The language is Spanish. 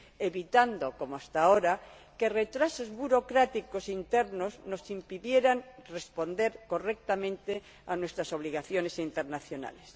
evitando, como hasta ahora, que retrasos burocráticos internos nos impidieran responder correctamente a nuestras obligaciones internacionales.